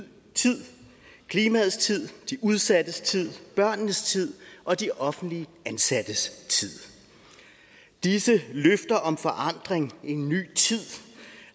tid klimaets tid de udsattes tid børnenes tid og de offentligt ansattes tid disse løfter om forandring en ny tid